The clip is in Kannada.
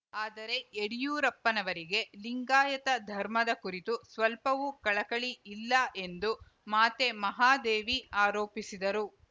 ಆದರೆ ಯಡಿಯೂರಪ್ಪನವರಿಗೆ ಲಿಂಗಾಯತ ಧರ್ಮದ ಕುರಿತು ಸ್ವಲ್ಪವೂ ಕಳಕಳಿ ಇಲ್ಲ ಎಂದು ಮಾತೆ ಮಹಾದೇವಿ ಆರೋಪಿಸಿದರು